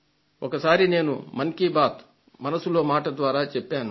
ఒకసారి నేను మన్ కీ బాత్ మనసులో మాట ద్వారా చెప్పాను